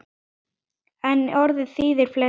En orðið þýðir fleira.